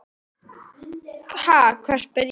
Sá hópur starfar enn.